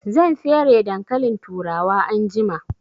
Zan fere dankalin turawa anjima